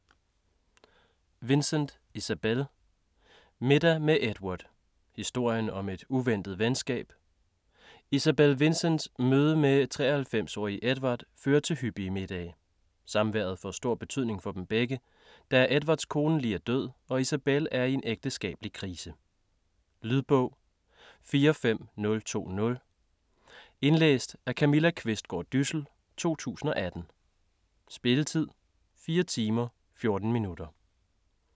Vincent, Isabel: Middag med Edward: historien om et uventet venskab Isabel Vincents møde med 93-årige Edward fører til hyppige middage. Samværet får stor betydning for dem begge, da Edwards kone lige er død og Isabel er i en ægteskabelig krise. Lydbog 45020 Indlæst af Camilla Qvistgaard Dyssel, 2018. Spilletid: 4 timer, 14 minutter.